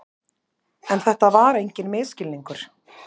En þetta var enginn misskilningur.